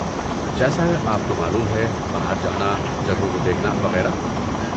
جیسے آپ کو معلوم ہے، باہر جانا، جگہوں کو دیکھنا، وغیرہ۔